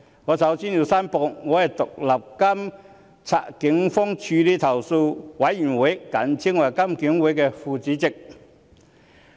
我首先申報，我是獨立監察警方處理投訴委員會的副主席。